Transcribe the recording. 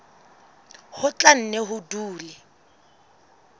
ho tla nne ho dule